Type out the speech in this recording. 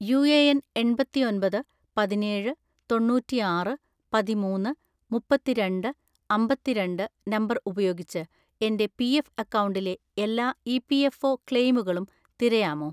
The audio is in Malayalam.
യുഎഎൻ എണ്‍പത്തിഒന്‍പത് പതിനേഴ് തൊണ്ണൂറ്റിആറ് പതിമൂന്ന്‌ മുപ്പത്തിരണ്ട് അമ്പത്തിരണ്ട് നമ്പർ ഉപയോഗിച്ച് എന്റെ പിഎഫ് അക്കൗണ്ടിന്റെ എല്ലാ ഇ.പി.എഫ്.ഒ ക്ലെയിമുകളും തിരയാമോ?